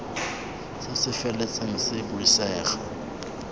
se se feletseng se buisega